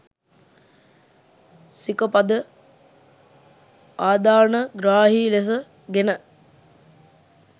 සික පද ආදානග්‍රාහී ලෙස ගෙන